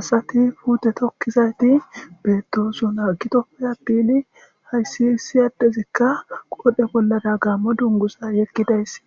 asati puute tokkizayti beetosuna gitoppe appini hayssi issi addezikka qodhe bollada gaammo dungusa yekkidayssi